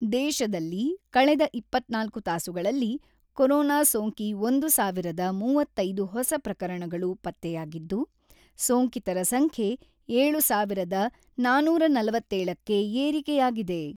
ದೇಶದಲ್ಲಿ ಕಳೆದ ಇಪ್ಪತ್ತ್ನಾಲ್ಕು ತಾಸುಗಳಲ್ಲಿ ಕೊರೊನಾ ಸೋಂಕಿ ಒಂದು ಸಾವಿರದ ಮೂವತ್ತೈದು ಹೊಸ ಪ್ರಕರಣಗಳು ಪತ್ತೆಯಾಗಿದ್ದು, ಸೋಂಕಿತರ ಸಂಖ್ಯೆ ಏಳು ಸಾವಿರದ ನಾನೂರ ನಲವತ್ತೇಳಕ್ಕೆ ಏರಿಕೆಯಾಗಿದೆ.